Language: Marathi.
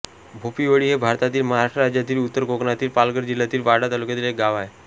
भोपिवळी हे भारतातील महाराष्ट्र राज्यातील उत्तर कोकणातील पालघर जिल्ह्यातील वाडा तालुक्यातील एक गाव आहे